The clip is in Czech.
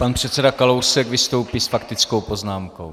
Pan předseda Kalousek vystoupí s faktickou poznámkou.